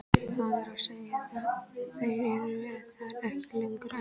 Það er að segja þeir eru þar ekki lengur, en.